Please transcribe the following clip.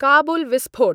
काबुल विस्फोट